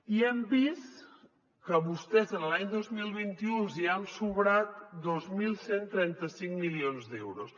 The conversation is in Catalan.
i hem vist que a vostès l’any dos mil vint u els hi han sobrat dos mil cent i trenta cinc milions d’euros